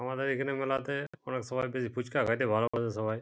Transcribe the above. আমাদের এখানে মেলাতে অনেক সবাই বেশি ফুচকা খেতে ভালবাসে সবাই।